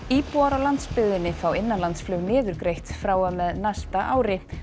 íbúar á landsbyggðinni fá innanlandsflug niðurgreitt frá og með næsta ári